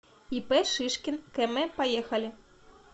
ип шишкин км поехали